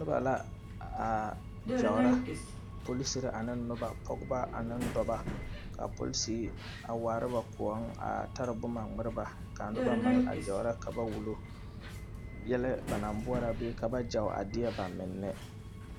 Nobɔ la aa gyaora polisere ane nobɔ pɔgeba ane daba kaa polisere a waara ba kõɔŋ a tare boma ngmirɛ ba kaa nobɔ meŋ a gyaora ka ba wullo yɛlɛ ba naŋ boɔrɔ bee ba gyao a deɛ ba menne.